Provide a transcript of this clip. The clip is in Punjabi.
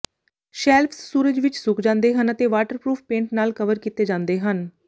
ਸ਼ੈਲਫਸ ਸੂਰਜ ਵਿੱਚ ਸੁੱਕ ਜਾਂਦੇ ਹਨ ਅਤੇ ਵਾਟਰਪਰੂਫ ਪੇਂਟ ਨਾਲ ਕਵਰ ਕੀਤੇ ਜਾਂਦੇ ਹਨ